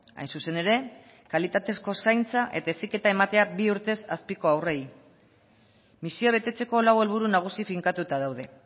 hain zuzen ere kalitatezko zaintza eta heziketa ematea bi urtez azpiko haurrei misioa betetzeko lau helburu nagusi finkatuta daude